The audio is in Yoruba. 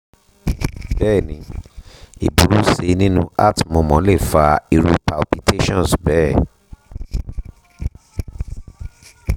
bẹ́ẹ̀ni ìburú sí nínú heart murmur lè fa irú palpitations bẹ́ẹ̀